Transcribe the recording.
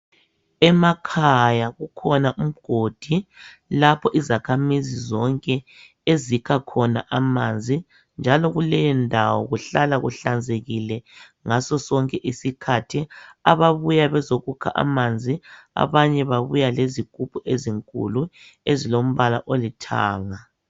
Emakhaya kukhona umgodi lapho izakhamizi zonke ezikha khona amanzi njalo kuleyondawo kuhlala kuhlanzekile ngasosonke isikhathi . Ababuya bezokukha amanzi abanye babuya lezigubhu ezinkulu ezilombala olithanga .